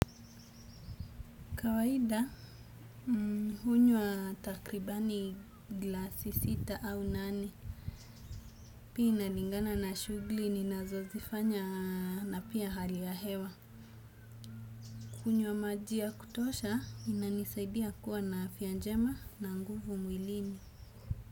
Kawaida, hunywa takribani glasi sita au nane. Pia inalingana na shughuli ninazo zifanya na pia hali ya hewa. Kunywa maji ya kutosha, inanisaidia kuwa na afya njema na nguvu mwilini.